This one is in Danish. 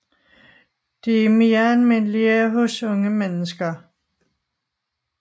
De er mere almindelige hos unge mennesker